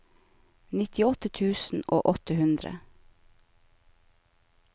nittiåtte tusen og åtte hundre